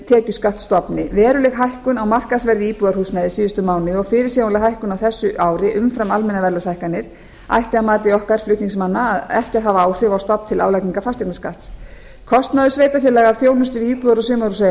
tekjuskattsstofni veruleg hækkun á markaðsverði íbúðarhúsnæðis á síðastliðnu ári og fyrirsjáanleg hækkun á þessu ári umfram almennar verðlagshækkanir ætti að mati okkar flutningsmanna ekki að hafa áhrif á stofn til álagningar fasteignaskatts kostnaður sveitarfélaga af þjónustu við íbúða og